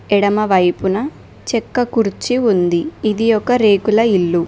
ఎడమవైపున చెక్క కుర్చి ఉంది ఇది ఒక రేకుల ఇల్లు.